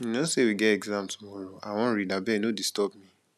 you no say we get exam tomorrow i wan read abeg no disturb me